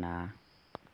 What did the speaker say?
naa.